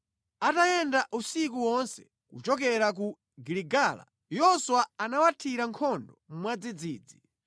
Atayenda usiku wonse kuchokera ku Giligala, Yoswa anawathira nkhondo mwadzidzidzi.